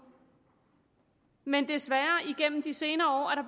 men desværre er der igennem de senere år